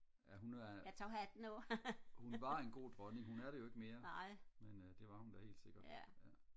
ja hun er hun var en god dronning hun er det jo ikke mere men det var hun helt sikkert